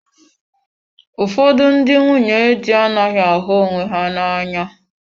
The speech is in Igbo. Ụfọdụ ndị nwunye di anaghị ahụ onwe ha n'anya.